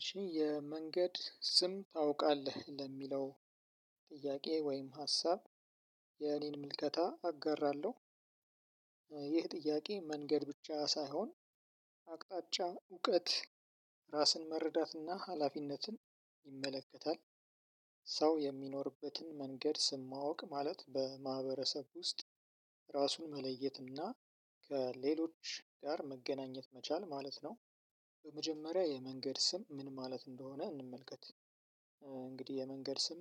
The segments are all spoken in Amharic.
እሺ የመንገድ ስም ታውቃለህ ለሚለው ጥያቄ ወይም ሀሳብ የኔን ምልከታ አጋራለሁ። ይህ ጥያቄ መንገድ ብቻ ሳይሆን አቅጣጫ እውቀት ራስን መረዳትና ሀላፊነትን ይመለከታል። ሰው የሚኖርበትን መንገድ ስም ማወቅ ማለት በማህበረሰብ ውስጥ ራሱን መለየት እና ከሌሎች ጋር መገናኘት መቻል ማለት ነው። በመጀመሪያ የመንገድ ስም ምን ማለት እንደሆነ እንመልከት። እንግዲህ የመንገድ ስም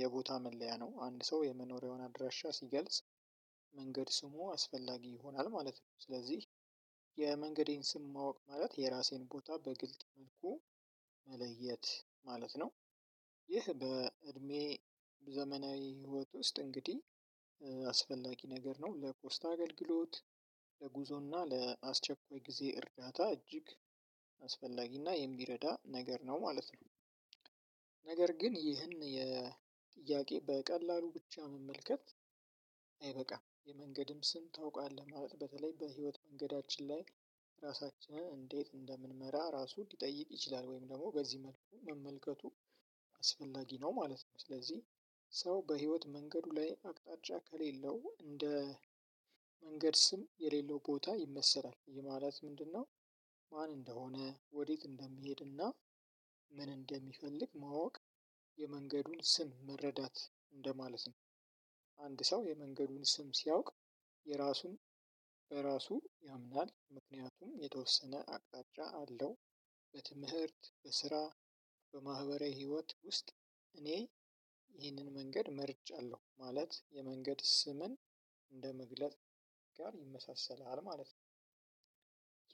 የቦታ መለያ ነው። አንድ ሰው የመኖሪያውን አድራሻ ሲገልጽ መንገድ ስሙ አስፈላጊ ይሆናል ማለት ነው። ስለዚህ የመንገዴን ስም ማወቅ ማለት የራሴን ቦታ በግልጥ መልኩ መለየት ማለት ነው። ይህ በእድሜ ዘመናዊ ህይወት ውስጥ እንግዲህ አስፈላጊ ነገር ነው ለፖስታ አገልግሎት ለጉዞና ለአስቸኳይ ጊዜ እርዳታ እጅግ አስፈላጊና የሚረዳ ነገር ነው ማለት ነው። ነገር ግን ይህን የጥያቄ በቀላሉ ብቻ መመልከት አይበቃም። የመንገድም ስም ታውቃለህ ማለት በተለይ በህይወት መንገዳችን ላይ ራሳችንን እንዴት እንደምንመራ ራሱ ሊጠይቅ ይችላል ወይም ደግሞ በዚህ መልኩ መመልከቱ አስፈላጊ ነው ማለት ነው። ስለዚህ ሰው በህይወት መንገዱ ላይ አቅጣጫ ከሌለው እንደ መንገድ ስም የሌለው ቦታ ይመሰላል። ይሄ ማለት ምንድነው? ማን እንደሆነ ወዴት እንደሚሄድና ምን እንደሚፈልግ ማወቅ የመንገዱን ስም መረዳት እንደማለት ነው። አንድ ሰው የመንገዱን ስም ሲያውቅ የራሱን ያምናል ምክንያቱም የተወሰነ አቅጣጫ አለው። በትምህርት በስራ በማህበራዊ ህይወት ውስጥ እኔ ይህንን መንገድ መርጫለሁ ማለት የመንገድ ስምን እንደመግለጥ ጋር ይመሳሰላል ማለት ነው።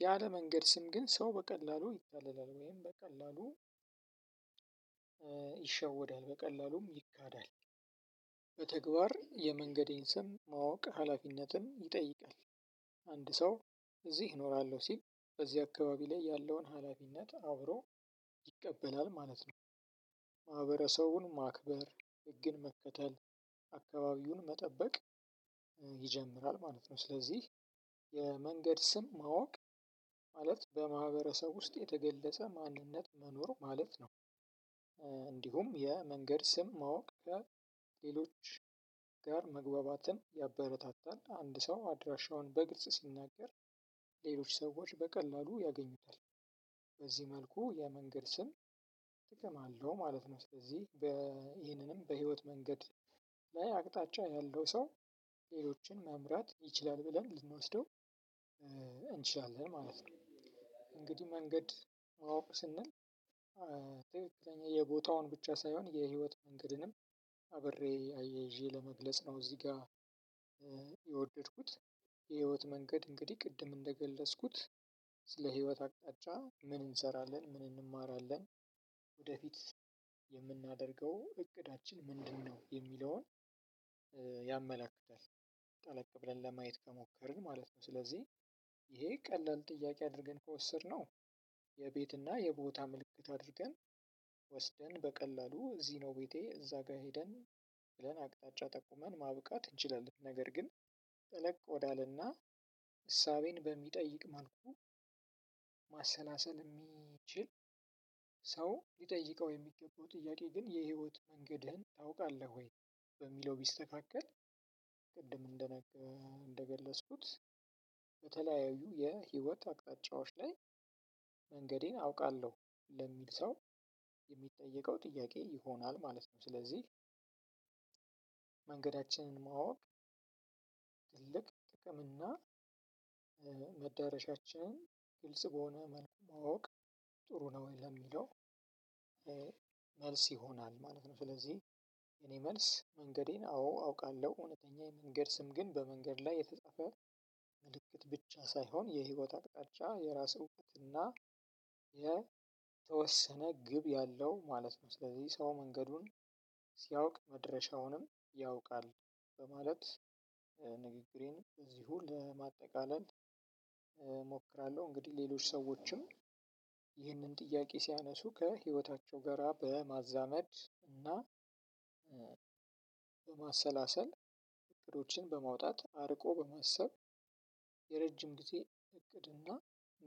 ያለ መንገድ ስም ግን ሰው በቀላሉ ይታለላል ወይም በቀላሉ ይሸወዳል በቀላሉም ይካዳል። በተግባር የመንገዴን ስም ማወቅ ሀላፊነትም ይጠይቃል። ሰው እዚህ እኖራለሁ ሲል በዚህ አካባቢ ላይ ያለውን ሀላፊነት አብሮ ይቀበላል ማለት ነው። ማህበረሰቡን ማክበር ህግን መከተል አካባቢውን መጠበቅ ይጀምራል ማለት ነው። ስለዚህ የመንገድ ስም ማወቅ ማለት በማህበረሰብ ውስጥ የተገለጸ ማንነት መኖር ማለት ነው። እንዲሁም የመንገድ ስም ማወቅ ከሌሎች ጋር መግባባትን ያበረታታል። አንድ ሰው አድራሻውን በግልጽ ሲናገር ሌሎች ሰዎች በቀላሉ ያገኙታል። በዚህ መልኩ የመንገድ ስም ትቅም አለው ማለት ነው። ስለዚህ ይህንንም በህይወት መንገድ ላይ አቅጣጫ ያለው ሰው ሌሎችን መምራት ይችላል ብለን ልንወስደው እንችላለን ማለት ነው። እንግዲህ መንገድ ማወቅ ስንል የቦታውን ብቻ ሳይሆን የህይወት መንገድንም አብሬ አያይዤ ለመግለጽ ነው። እዚህ ጋር የወደድኩት የህይወት መንገድ እንግዲህ ቅድም እንደገለጽኩት ስለ ህይወት አቅጣጫ ምን እንሰራለን ምን እንማራለን ወደፊት የምናደርገው እቅዳችን ምንድነው የሚለውን ያመላክታል። ጠለቅ ብለን ለማየት ከሞከርን ማለት ነው። ስለዚህ ይሄ ቀላል ጥያቄ አድርገን ከወሰድነው የቤትና የቦታ ምልክት አድርገን ወስደን በቀላሉ እዚህ ነው ቤቴ እዛ ጋር ሄደን ብለን አቅጣጫ ጠቁመን ማብቃት እንችላለን። ነገር ግን ጠለቅ ወዳለና እሳቤን በሚጠይቅ መልኩ ማሰላሰል የሚችል ሰው ሊጠይቀው የሚገባው ጥያቄ ግን የህይወት መንገድህን ታውቃለህ ወይ? በሚለው ቢስተካከል። እንደገለጽኩት በተለያዩ የህይወት አቅጣጫዎች ላይ መንገዴን አውቃለሁ ለሚል ሰው የሚጠየቀው ጥያቄ ይሆናል ማለት ነው። ስለዚህ መንገዳችንን ማወቅ ትልቅ ጥቅም እና መዳረሻችንን ግልጽ በሆነ መልኩ ማወቅ ጥሩ ነው ለሚለው መልስ ይሆናል ማለት ነው። ስለዚህ የኔ መልስ መንገዴን አዎ አውቃለሁ እውነተኛ የመንገድ ስም ግን በመንገድ ላይ የተጻፈ ምልክት ብቻ ሳይሆን የህይወት አቅጣጫ የራስ ውበት እና የተወሰነ ግብ ያለው ማለት ነው። ስለዚህ ሰው መንገዱን ሲያውቅ መድረሻውንም ያውቃል። በማለት ንግግሬን እዚሁ ለማጠቃለል እሞክራለሁ። እንግዲህ ሌሎች ሰዎችም ይህንን ጥያቄ ሲያነሱ ከህይወታቸው ጋራ በማዛመድ እና በማሰላሰል እቅዶችን በማውጣት አርቆ በማሰብ። የረጅም ጊዜ እቅድና